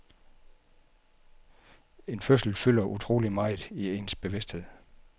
En fødsel fylder så utrolig meget i ens bevidsthed.